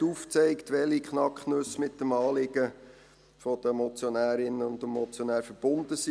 Der Regierungsrat hat aufgezeigt, welche Knacknüsse mit dem Anliegen der Motionärinnen und des Motionärs verbunden sind.